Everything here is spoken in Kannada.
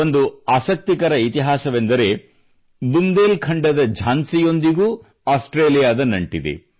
ಒಂದು ಆಸಕ್ತಿಕರ ಇತಿಹಾಸವೆಂದರೆ ಬುಂದೇಲ್ ಖಂಡದ ಝಾನ್ಸಿಯೊಂದಿಗೂ ಆಸ್ಟ್ರೇಲಿಯಾದ ನಂಟಿದೆ